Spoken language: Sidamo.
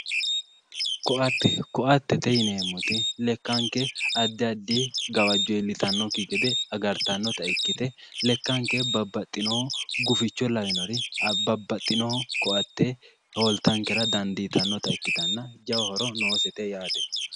Koatte, koattete yineemmoti lekkanke addi addi gawajo iillittanokki gede agartanotta ikkite lekkake babbaxino guficho lawinore babbaxino koatte holittankera dandittanotta ikkittanna jawa horo noosete yaate.